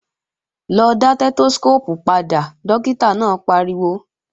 Lọ dá Stẹ́tóskóópù padà, dókítà náà pariwo!